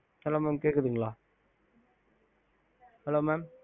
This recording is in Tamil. hello mam கேக்குதுங்கள கேக்குது sir